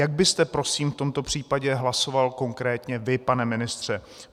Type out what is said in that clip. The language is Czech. Jak byste prosím v tomto případě hlasoval konkrétně vy, pane ministře?